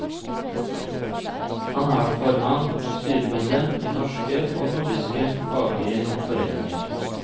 Han har vært formann og styremedlem i norske og nordiske faglige foreninger.